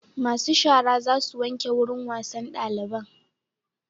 Masu shara za su wanke wurin wasan daliban